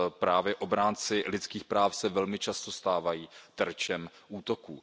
Právě obránci lidských práv se velmi často stávají terčem útoků.